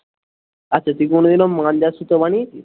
আচ্ছা তুই কোনো দিনও মাঞ্জার সুতো বানিয়েছিস?